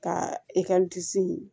Ka